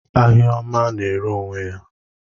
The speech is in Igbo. Ahịa ọma na-ere onwe ya.